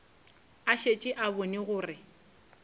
a šetše a bone gore